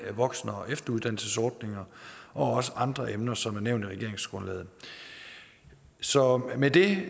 voksen og efteruddannelsesordninger og også andre emner som er nævnt i regeringsgrundlaget så med det